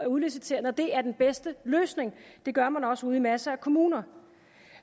udlicitere når det er den bedste løsning det gør man også ude i masser af kommuner